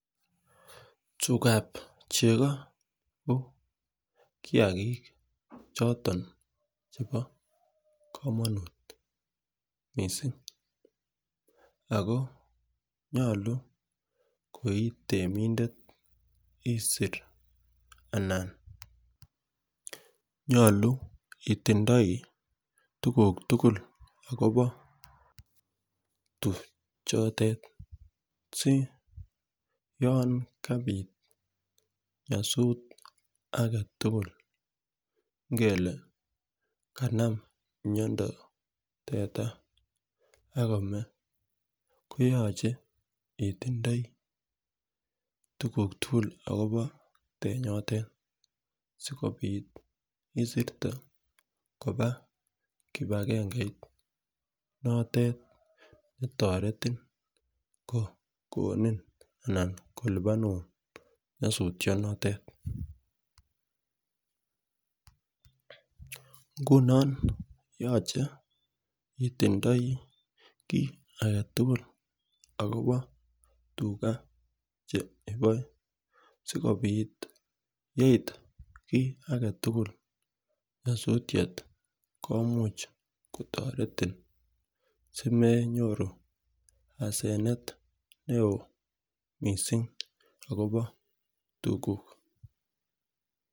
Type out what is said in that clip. Tukab chego ko kiyagik choton chebo komonut missing ako nyolu koitemindet isir anan nyolu itindoi tukuk tukul akobo tuchote si yon kapit nyosut agetutuk ngele kanm miondo teta ak komee koyoche itindoi tukuk tukul akobo tenyotet sikopit isirte koba kipagengeit notet netoreti kokonin anan kolipanun nuosutyo notet. Ngunon yoche itindoi kii agetutuk akobo tuchotet sikopit yeit kii agetutuk nyosutyet komuche kotoretin simenyoru asenet neo missing akobo tukuk.